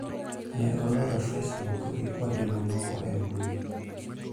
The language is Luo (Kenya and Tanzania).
Neo loro Facebook gi kuonde mamoko e mbui.